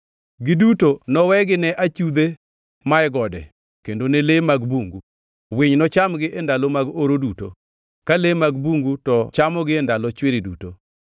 Giduto nowegi ne achudhe mae gode kendo ne le mag bungu, winy nochamgi e ndalo mag oro duto, ka le mag bungu to chamogi e ndalo chwiri duto.